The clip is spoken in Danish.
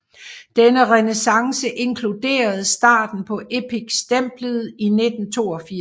Denne renæssance inkluderede starten på Epic stemplet i 1982